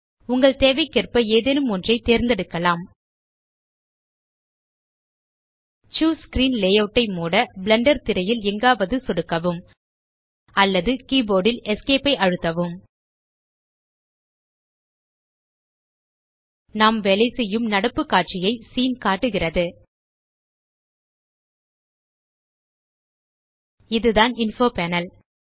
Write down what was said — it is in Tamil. உங்கள் தேவைக்கேற்ப எதேனும் ஒன்றை தேர்ந்தெடுக்கலாம் சூஸ் ஸ்க்ரீன் லேயூட் ஐ மூட பிளெண்டர் திரையில் எங்காவது சொடுக்கவும் அல்லது கீபோர்ட் ல் Esc ஐ அழுத்தவும் நாம் வேலைசெய்யும் நடப்பு காட்சியைக் சீன் காட்டுகிறது இதுதான் இன்ஃபோ பேனல்